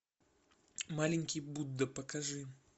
маленький будда покажи